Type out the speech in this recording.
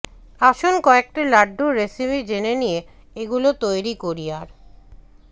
আসুন কয়েকটি লাড্ডুর রেসিপি জেনে নিয়ে এগুলো তৈরি করি আর